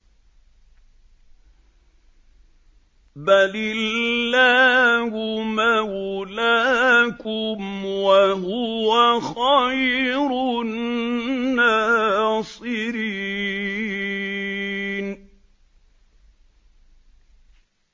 بَلِ اللَّهُ مَوْلَاكُمْ ۖ وَهُوَ خَيْرُ النَّاصِرِينَ